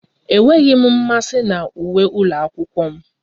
Enweghị m mmasị na uwe ụlọ akwụkwọ m